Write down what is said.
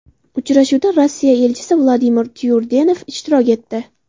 Uchrashuvda Rossiya elchisi Vladimir Tyurdenov ishtirok etdi.